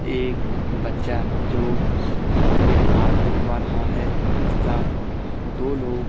एक बच्चा जो अपने बाल कटवा रहा है तथा दो लोग--